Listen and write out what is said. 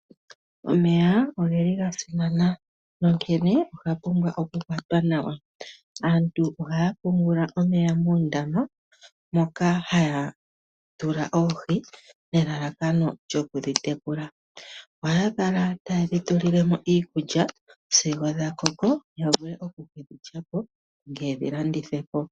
Omeya omeya ogeli gasimana onkene oga pumbwa oku kwatwa nawa. Aantu ohaya pungula omeya muundama moka haya tula oohi nelalakano lyoku dhitekula. Ohaya kala taye dhi tu li le mo iikulya sigo dha koko ya vule oku kedhi lyapo nenge ye dhi landithe po.